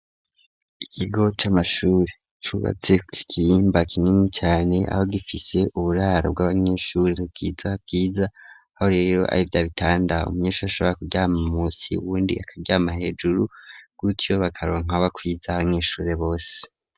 Ikigo c'amashuri cubatse kuikirimba kinini cane aho gifise uburaro bw'abanyeshuri kwiza kwiza aho rero abivyabitanda umuyeshuri ashobora kuryama musi wundi akajyama hejuru bwutyo bakaba bakwiza abanyeshure bose.